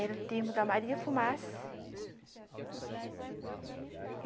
Era o tempo da Maria Fumaça.